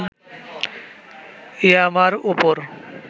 ইয়ামার ওপর